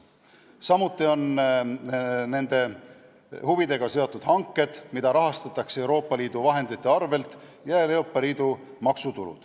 Samuti on nende huvidega seotud hanked, mida rahastatakse Euroopa Liidu vahenditega, ja Euroopa Liidu maksutulu.